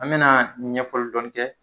An bena ɲɛfɔli dɔni kɛ